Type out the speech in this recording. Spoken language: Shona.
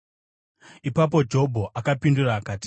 Ipapo Jobho akapindura akati: